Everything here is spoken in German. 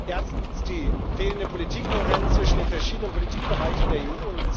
Erstens Die fehlende Politikkohärenz zwischen den verschiedenen Politikbereichen der EU.